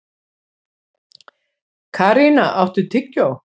Karína, áttu tyggjó?